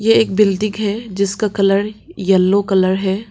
एक बिल्डिंग है जिसका कलर येलो कलर है।